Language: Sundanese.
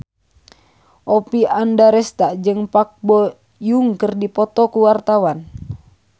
Oppie Andaresta jeung Park Bo Yung keur dipoto ku wartawan